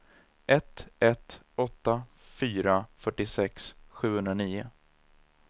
ett ett åtta fyra fyrtiosex sjuhundranio